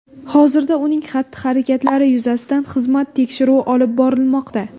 Hozirda uning xatti-harakatlari yuzasidan xizmat tekshiruvi olib borilmoqda.